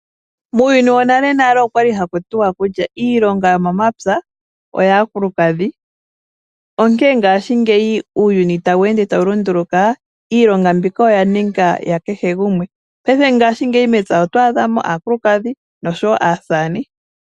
Muuyuni wonale nale okwali haku tiwa kutya iilonga yomomapya oyaakulukadhi, ihe ngaashingeyi sho uuyuni tawu ende tawu lunduluka iilonga mbika oya ninga ya kehe gumwe. Paife mepya oto adha mo aakulukadhi noshowo aasamane.